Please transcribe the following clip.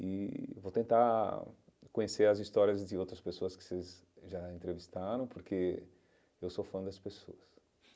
E vou tentar conhecer as histórias de outras pessoas que vocês já entrevistaram, porque eu sou fã das pessoas.